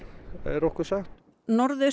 er okkur sagt